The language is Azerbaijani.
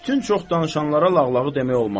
bütün çox danışanlara lağlağı demək olmaz.